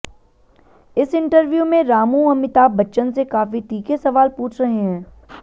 इस इंटरव्यू में रामू अमिताभ बच्चन से काफी तीखे सवाल पूछ रहे हैं